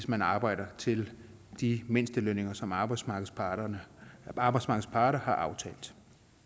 man arbejder til de mindstelønninger som arbejdsmarkedets parter arbejdsmarkedets parter har aftalt